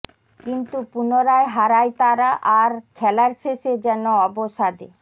কিন্তু পুনরায় হারায় তারা আর খেলার শেষে যেন অবসাদে